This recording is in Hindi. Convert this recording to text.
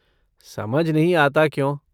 समझ नहीं आता क्यों?